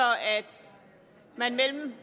man mellem